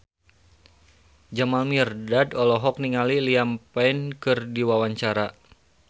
Jamal Mirdad olohok ningali Liam Payne keur diwawancara